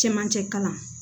Cɛmancɛ kalan